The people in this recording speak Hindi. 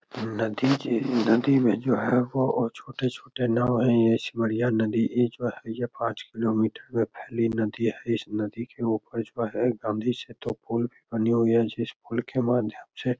नदी जे नदी में जो है वो छोटे-छोटे नाव है ये ऐसी बढ़िया नदी इ जो है यह पांच किलोमीटर मे फैली नदी है इस नदी के ऊपर जो है गाँधी सेतु पुल भी बनी हुइ है जिस पुल के माध्यम से --